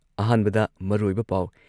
ꯑꯍꯥꯟꯕꯗ ꯃꯔꯨꯑꯣꯏꯕ ꯄꯥꯎ